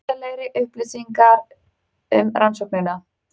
Ítarlegri upplýsingar um rannsóknina